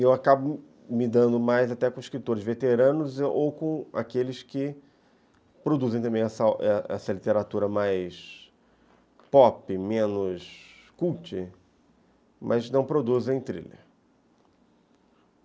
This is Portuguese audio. E eu acabo me dando mais até com escritores veteranos ou com aqueles que produzem também essa literatura mais pop, menos cult, mas não produzem thriller.